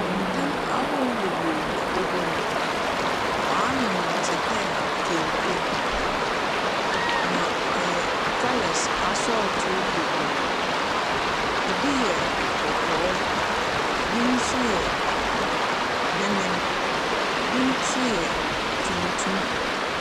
Ntam ahorow bebree na ɔgu hɔ. Wɔanwen no te dɛ kente, na ɔyɛ colours asɔɔtoo bebree. Ebi yɛ kɔkɔɔ, bi nso yɛ memen, bi nso yɛ tuntum.